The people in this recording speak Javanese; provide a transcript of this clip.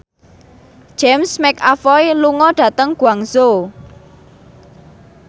James McAvoy lunga dhateng Guangzhou